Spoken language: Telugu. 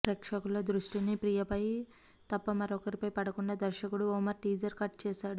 ప్రేక్షకుల దృష్టిని ప్రియ పై తప్ప మరొకరిపై పడకుండా దర్శకుడు ఒమర్ టీజర్ కట్ చేశాడు